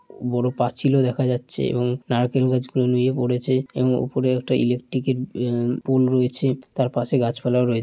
বড় পাঁচিল ও দেখা যাচ্ছে এবং নারকেল গাছ গুলো নুয়ে পড়েছে এবং উপরে একটা ইলেকট্রিক এর এ পোল রয়েছে। তার পাশে গাছ পালাও রয়ে --